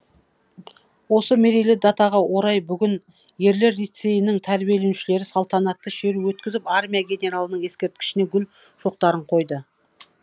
осы мерейлі датаға орай бүгін ерлер лицейінің тәрбиеленушілері салтанатты шеру өткізіп армия генералының ескерткішіне гүл шоқтарын қойды